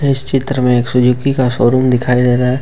इस चित्र में एक सुजुकी का शोरूम दिखाई दे रहा है।